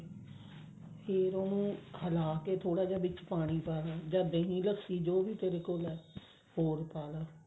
ਫ਼ੇਰ ਉਹਨੂੰ ਹਲਾ ਕੇ ਥੋੜਾ ਜਾ ਵਿੱਚ ਪਾਣੀ ਪਾਉਣਾ ਜਾਂ ਦਹੀਂ ਲੱਸੀ ਜੋ ਵੀ ਤੇਰੇ ਕੋਲ ਹੈ ਉਹ